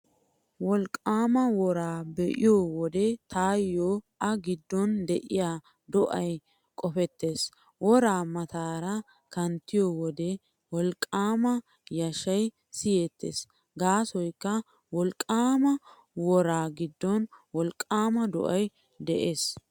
Wolqqaama woraa be'iyo wode taayyo a giddon de'iyaa do'ay qopettees. Woraa mataara kanttiyo wode wolqqaama yashshay siyettees gaasoykka wolqqaama woraa giddon wolqqaama do'ay de'ees.